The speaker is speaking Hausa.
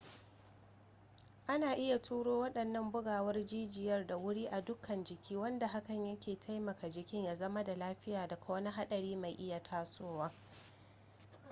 ana iya turo waɗannan bugawar jijiya da wuri a dukkan jiki wanda hakan yake taimaka jikin ya zama da lafiya daga wani haɗari mai iya tasowa